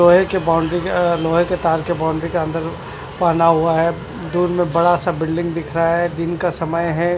लोहे की बाउंड्री के अ लोहे के तार के बाउंड्री के अन्दर बना हुआ है दूर में बड़ा सा बिल्डिंग दिख रहा है दिन का समय है।